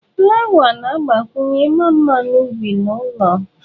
Flawa na-agbakwunye ịma mma n'ubi na ụlọ.